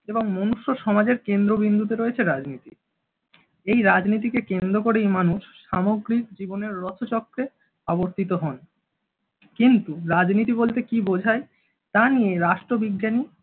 এবং মানুষ্য সমাজের কেন্দ্রবিন্দুতে রয়েছে রাজনীতি। এই রাজনীতিকে কেন্দ্র করেই মানুষ সামগ্রিক জীবনের রথচক্রে আবর্তিত হন। কিন্তু রাজনীতি বলতে কী বোঝায় তা নিয়ে রাষ্ট্রবিজ্ঞানী